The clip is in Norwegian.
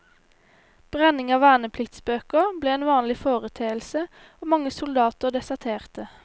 Brenning av vernepliktsbøker ble en vanlig foreteelse, og mange soldater deserterte.